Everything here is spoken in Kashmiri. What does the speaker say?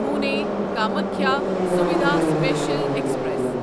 Pune Kamakhya Suvidha special express